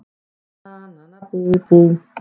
Nana nana bú bú!